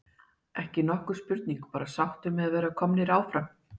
Ekki nokkur spurning, bara sáttur með að vera komnir áfram.